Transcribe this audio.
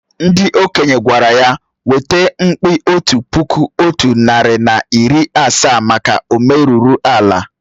Ndị okenye gwara ya weta mkpi otu puku otu narị na iri asaa maka o merụrụ ala